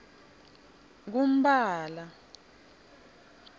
kumphala